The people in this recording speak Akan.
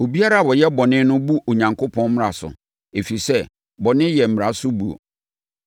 Obiara a ɔyɛ bɔne no bu Onyankopɔn mmara so, ɛfiri sɛ, bɔne yɛ mmara so buo.